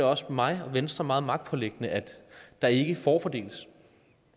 også mig og venstre meget magtpåliggende at der ikke forfordeles